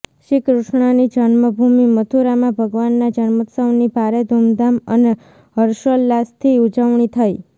શ્રીકૃષ્ણની જન્મભૂમિ મથુરામાં ભગવાનના જન્મોત્સવની ભારે ધૂમધામ અને હર્ષોલ્લાસથી ઉજવણી થઈ